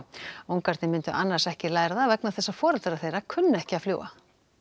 ungarnir myndu annars ekki læra það vegna þess að foreldrar þeirra kunna ekki að fljúga